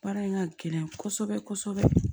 Baara in ka gɛlɛn kɔsɔbɛ kɔsɔbɛ